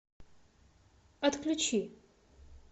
отключи